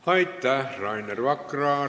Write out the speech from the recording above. Aitäh, Rainer Vakra!